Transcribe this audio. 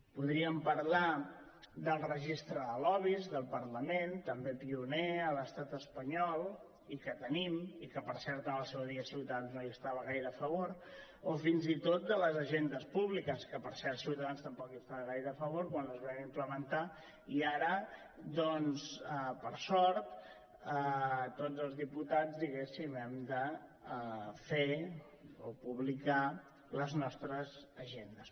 podríem parlar del registre de lobbys del parlament també pioner a l’estat espanyol i que tenim i que per cert en el seu dia ciutadans no hi estava gaire a favor o fins i tot de les agendes públiques que per cert ciutadans tampoc hi estava gaire a favor quan les vam implementar i ara doncs per sort tots els diputats diguéssim hem de fer o publicar les nostres agendes